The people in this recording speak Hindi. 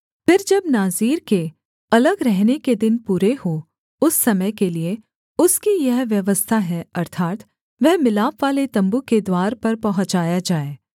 फिर जब नाज़ीर के अलग रहने के दिन पूरे हों उस समय के लिये उसकी यह व्यवस्था है अर्थात् वह मिलापवाले तम्बू के द्वार पर पहुँचाया जाए